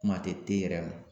Kuma tɛ yɛrɛ ma